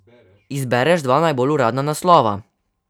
Izbereš dva najbolj udarna naslova.